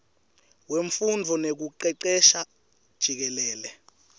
wemfundvo nekucecesha jikelele